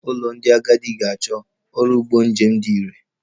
Ụlọ ndị agadi ga-achọ ọrụ ụgbọ njem dị irè